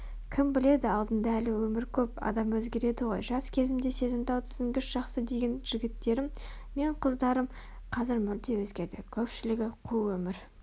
кім біледі алдыңда әлі өмір көп адам өзгереді ғой жас кезімде сезімтал түсінгіш жақсы деген жігіттерім мен қыздарым қазір мүлде өзгерді көпшілігі қу өмір